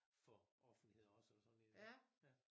For offentligheden også eller sådan et eller andet ja